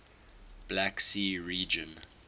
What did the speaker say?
black sea region